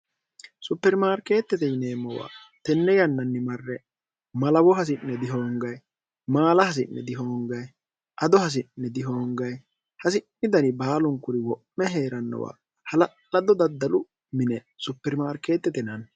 supermaarkeettete yineemmowa tenne yannanni marre malawo hasi'ne dihoongayi maala hasi'ne dihoongaye ado hasi'ne dihoongayi hasi'ni dani baalunkuri wo'me hee'rannowa hala''lado daddalu mine supermaarkeettete naanni